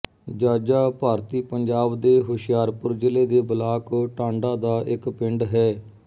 ਜਾਜਾ ਭਾਰਤੀ ਪੰਜਾਬ ਦੇ ਹੁਸ਼ਿਆਰਪੁਰ ਜ਼ਿਲ੍ਹੇ ਦੇ ਬਲਾਕ ਟਾਂਡਾ ਦਾ ਇੱਕ ਪਿੰਡ ਹੈ